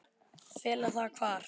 Fela það hvar?